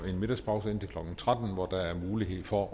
en middagspause indtil klokken tretten hvor der er mulighed for